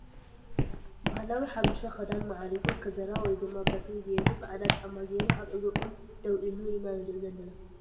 ባህላዊ ሓበሻ ክዳን ማዕሪጉ ከዘራ ወይ ድማ ብትሪ ገይሩ ፃዕዳ ጫማ ገሩ ኣብ እግሪ ቆም ደዉ ኢሉ ኢና ንርኢ ዘለና ።